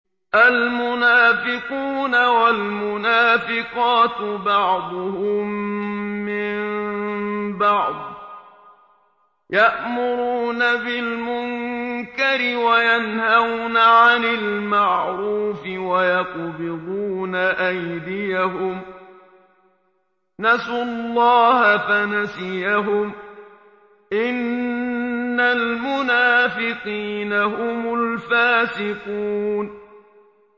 الْمُنَافِقُونَ وَالْمُنَافِقَاتُ بَعْضُهُم مِّن بَعْضٍ ۚ يَأْمُرُونَ بِالْمُنكَرِ وَيَنْهَوْنَ عَنِ الْمَعْرُوفِ وَيَقْبِضُونَ أَيْدِيَهُمْ ۚ نَسُوا اللَّهَ فَنَسِيَهُمْ ۗ إِنَّ الْمُنَافِقِينَ هُمُ الْفَاسِقُونَ